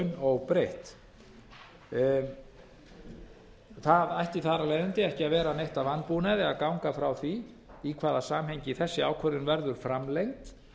laun óbreytt það ætti þar af leiðandi ekki að vera neitt að vanbúnaði að ganga frá því í hvaða samhengi þessi ákvörðun verður framlengd